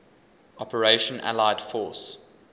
operation allied force